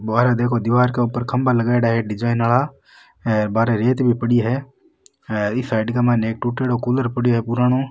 बाहर देखो दिवार के ऊपर खम्भा लगाईडा है डिजाइन आला हेर बाहरे रेत भी पड़ी है हेर ई साइड के माय एक टूट्योडो कूलर पड़यो है पुरानो।